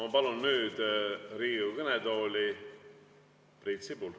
Ma palun nüüd Riigikogu kõnetooli Priit Sibula.